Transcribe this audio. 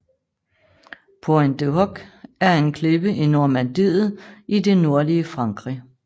Pointe du Hoc er en klippe i Normandiet i det nordlige Frankrig